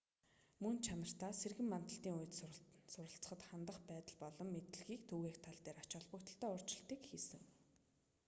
мөн чанартаа сэргэн мандлын үе суралцахад хандах байдал болон мэдлэгийг түгээх тал дээр ач холбогдолтой өөрчлөлтийг хийсэн